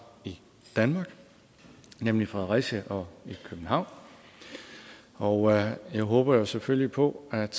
i danmark nemlig i fredericia og i københavn og nu håber jeg selvfølgelig på at